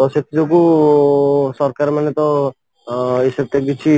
ତ ସେଥିଯୋଗୁଁ ସରକାର ମାନେ ତ ସେଥିରେ କିଛି